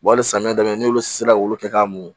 Wali samiya daminɛ n'olu sera k'olu kɛ k'a mun